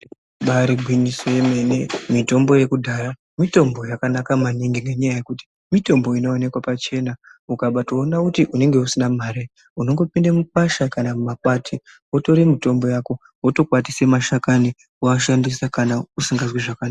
Ibari gwinyiso yemene mitombo yakudhaya mitombo yakanaka maningi nenyaya yekuti mitombo inovanikwa pachena. Ukabatoona kuti unenge usina mare unongopinda mukwasha kana mumakwati votore mitombo yako votokwatise mashakani voashandisa kana usikazwi zvakanaka.